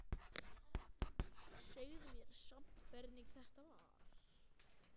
Segðu mér samt hvernig þetta var.